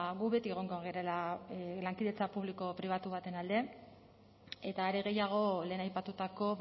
gu beti egongo garela lankidetza pribatu baten alde eta are gehiago lehen aipatutako